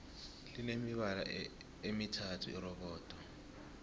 line mibala emithathu irobodo